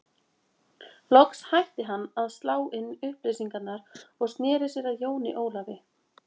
Loks hætti hann að slá inn upplýsingar og sneri sér að Jóni Ólafi.